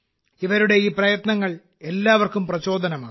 ഇവരുടെ ഈ പ്രയത്നങ്ങൾ എല്ലാവർക്കും പ്രചോദനമാകുന്നു